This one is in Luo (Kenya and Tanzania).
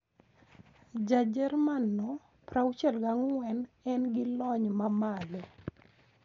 Ja Jerman no ,64, en gi lony mamalo.